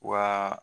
Wa